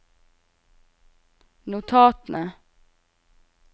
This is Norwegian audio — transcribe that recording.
notatene